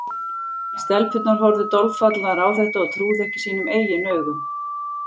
Stelpurnar horfðu dolfallnar á þetta og trúðu ekki sínum eigin augum.